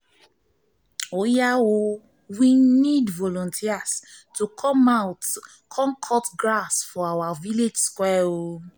we need volunteers to come cut grass for our village square